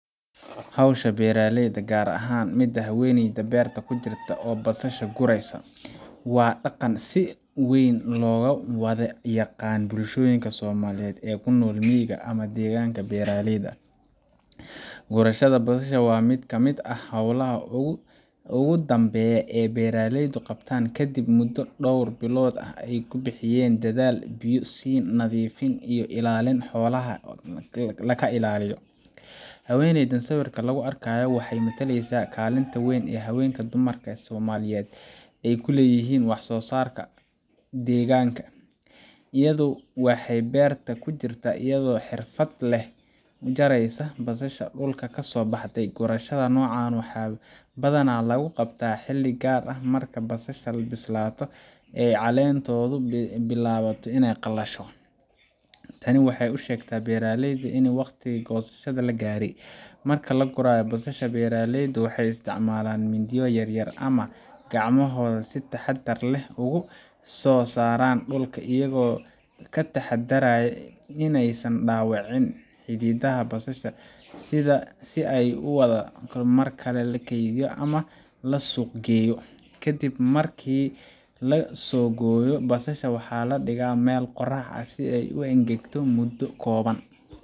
Hawshan beeraleyda, gaar ahaan midda haweeneyda beerta ku jirta oo basasha guraysa, waa dhaqan si weyn looga wada yaqaan bulshooyinka Soomaaliyeed ee ku nool miyiga ama deegaannada beeraleyda ah. Gurashada basasha waa mid ka mid ah hawlaha ugu dambeeya ee beeraleydu qabtaan kadib muddo dhowr bilood ah oo ay ku bixiyeen dadaal, biyo-siin, nadiifin iyo ilaalin xoolaha ka ilaaliya. Haweeneyda sawirka lagu arkayo waxay metelaysaa kaalinta weyn ee haweenka dumarka Soomaaliyeed ay ku leeyihiin wax-soo-saarka deegaanka. Iyadu waxay beerta ku jirtaa iyadoo si xirfad leh u jaraysa basasha dhulka ka soo baxday. Gurashada noocan ah waxaa badanaa lagu qabtaa xilli gaar ah oo ah marka basasha bislaato oo caleenteedu ay bilaabato inay qallasho. Tani waxay u sheegtaa beeraleyda in waqtigii goosashada la gaaray. Marka la gurayo basasha, beeraleydu waxay isticmaalaan mindiyo yar-yar ama gacmahooda si ay si taxaddar leh uga soo saaraan dhulka, iyagoo ka taxaddaraya in aysan dhaawicin xididada basasha si ay u sii waarato marka la keydiyo ama la suuq geeyo. Ka dib markii la soo gooyo, basasha waxaa la dhigaa meel qorrax leh oo ay ku engegto muddo kooban